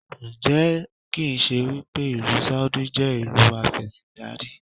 Ǹjẹ́ kì ń ṣe wípé ìlú Sáúdí jẹ́ ìlú afẹ́síndarí?